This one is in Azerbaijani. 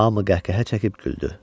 Hamı qəhqəhə çəkib güldü.